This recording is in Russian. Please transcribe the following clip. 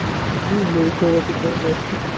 длинная у кого-то колбаска